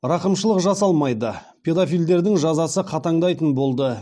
рақымшылық жасалмайды педофилдердің жазасы қатаңдайтын болды